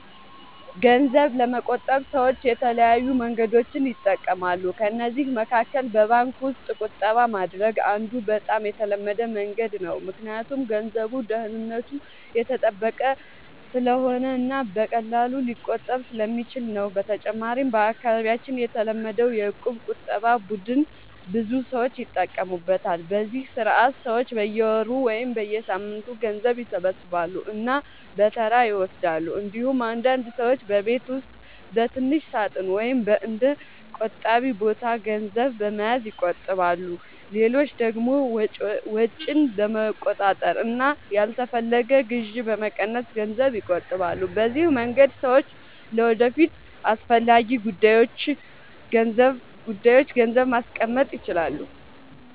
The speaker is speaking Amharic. ገንዘብ ለመቆጠብ ሰዎች የተለያዩ መንገዶችን ይጠቀማሉ። ከእነዚህ መካከል በባንክ ውስጥ ቁጠባ ማድረግ አንዱ በጣም የተለመደ መንገድ ነው፣ ምክንያቱም ገንዘቡ ደህንነቱ የተጠበቀ ስለሆነ እና በቀላሉ ሊቆጠብ ስለሚችል ነው። በተጨማሪም በአካባቢያችን የተለመደው የእቁብ ቁጠባ ቡድን ብዙ ሰዎች ይጠቀሙበታል፤ በዚህ ስርዓት ሰዎች በየወሩ ወይም በየሳምንቱ ገንዘብ ይሰበስባሉ እና በተራ ይወስዳሉ። እንዲሁም አንዳንድ ሰዎች በቤት ውስጥ በትንሽ ሳጥን ወይም በእንደ “ቆጣቢ ቦታ” ገንዘብ በመያዝ ይቆጥባሉ። ሌሎች ደግሞ ወጪን በመቆጣጠር እና ያልተፈለገ ግዢ በመቀነስ ገንዘብ ይቆጥባሉ። በዚህ መንገድ ሰዎች ለወደፊት አስፈላጊ ጉዳዮች ገንዘብ ማስቀመጥ ይችላሉ።